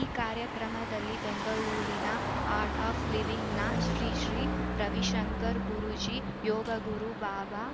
ಈ ಕಾರ್ಯಕ್ರಮದಲ್ಲಿ ಬೆಂಗಳೂರಿನ ಆರ್ಟ್‌ ಆಫ್‌ ಲಿವಿಂಗ್‌ನ ಶ್ರೀ ಶ್ರೀ ರವಿಶಂಕರ್‌ ಗುರೂಜಿ ಯೋಗಗುರು ಬಾಬಾ